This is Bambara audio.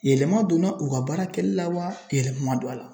Yɛlɛma donna u ka baara kɛlila wa yɛlɛma man don a la?